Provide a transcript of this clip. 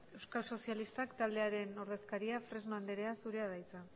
euskal sozialistak taldearen ordezkaria fresno andrea zurea da hitza